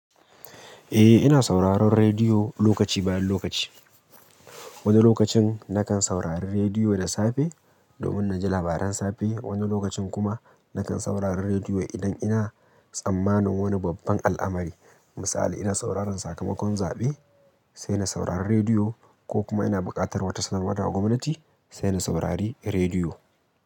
Eh, ina sauraron rediyo lokaci bayan lokaci. Wani lokacin nakan saurari rediyo da safe, domin na ji labaran safe. Wani lokacin kuma nakan saurari rediyo idan ina tsammanin wani babban al'amari. Misali, ina sauraron sakamakon zaɓe, sai na saurari rediyo ko kuma ina buƙatar wata sanarwa daga gwamnati, sai na saurari rediyo.